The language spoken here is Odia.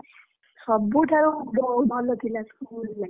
ସବୁଠାରୁ ବହୁତ ଭଲ ଥିଲା school life ।